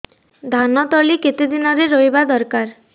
ଧାନ ତଳି କେତେ ଦିନରେ ରୋଈବା ଦରକାର